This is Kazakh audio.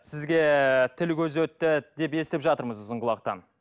сізге тіл көз өтті деп естіп жатырмыз ұзын құлақтан